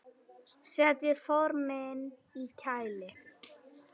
Setjið formin í kæli.